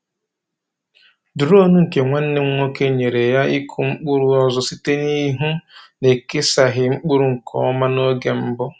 Duronu nke nwanne m nwoke nyeere ya ịkụ mkpụrụ ọzọ site n’ịhụ na e kesaghị mkpụrụ nke ọma n’oge mbụ.